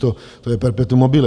To je perpetuum mobile.